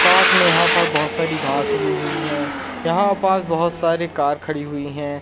साथ में यहां पर बहोत सारी घास उगी हुई हैं यहां पास बहोत सारी कार खड़ी हुई हैं।